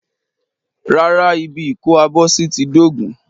Rárá, ibi ìkó-abọ́sí ti dóògùn.